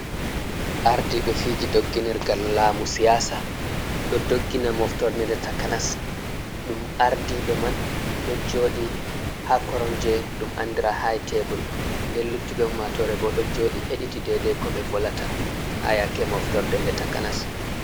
Ardiɓe fiji doggi nirgal lamu siyasa, Ɗo doggina moftorde nde takanas ɗum ardiɓe man ɗo joɗi ha koromje ɗum andira haytebur, nden luttuɓe ummatore bo ɗo joɗi heɗiti dede ko ɓe volata, ha yake moftorde nde takanas.